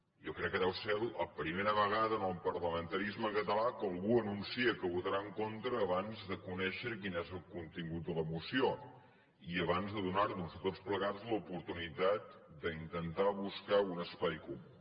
jo crec que deu ser la primera vegada en el parlamentarisme català que algú anuncia que votarà en contra abans de conèixer quin és el contingut de la moció i abans de donar nos a tots plegats l’oportunitat d’intentar buscar un espai comú